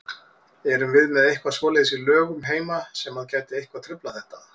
Erum við með eitthvað svoleiðis í lögum heima sem að gæti eitthvað truflað þetta?